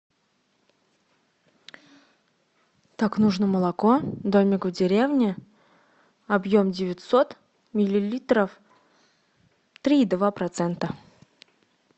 так нужно молоко домик в деревне объем девятьсот миллилитров три и два процента